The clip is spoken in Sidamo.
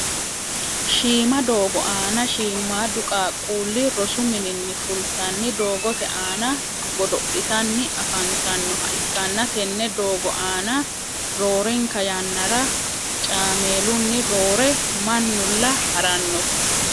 shiima doogo aanna shiimaadu qaquuli rosu mininni fulitanni doogote aanna godo'litanni afanitannoha ikanna tenne doogo aanna roorenka yannara cameelunni roore mannula haranotte.